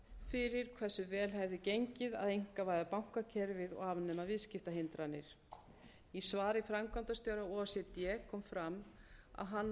fyrir hversu vel hefði gengið að einkavæða bankakerfið og afnema viðskiptahindranir í svari framkvæmdastjóra o e c d kom fram að hann